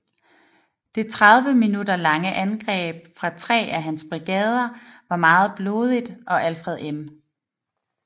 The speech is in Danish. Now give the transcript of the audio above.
Det 30 minutter lange andreb fra 3 af hans brigader var meget blodigt og Alfred M